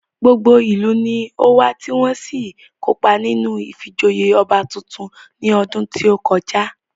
Gbogbo ìlú ni ówá tí wọ́n sì kópa nínú ìfijoyè ọba tuntun ní ọdún tí ó kọjá